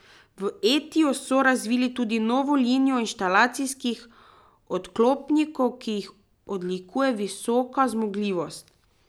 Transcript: V Etiju so razvili tudi novo linijo inštalacijskih odklopnikov, ki jih odlikuje visoka zmogljivost.